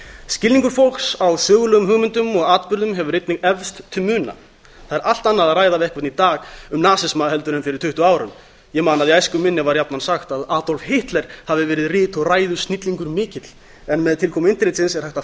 skilningur fólks á sögulegum hugmyndum og atburðum hefur einnig eflst til muna það er allt annað að ræða við einhvern í dag um að nema en fyrir tuttugu árum ég man að í æsku minni var jafnan sagt að adolf hitler hafi verið rit og ræðusnillingur mikill en með tilkomu internetsins er hægt að